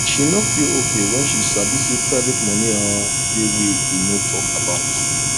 she no feel okay when she sabi say private money um dey wey e no talk about